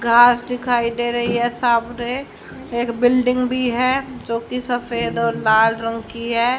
घास दिखाई दे रही है सामने एक बिल्डिंग भी है जोकि सफेद और लाल रंग की है।